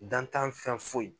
Dantan fɛn foyi.